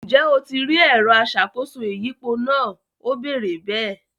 Ǹjẹ́ o ti rí “ẹ̀rọ aṣàkóso ìyípo” náà, Ó béèrè bẹ́ẹ̀?